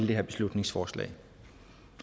det her beslutningsforslag